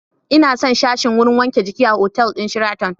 Ina son sashin wurin wanke jiki a otal ɗin Sheraton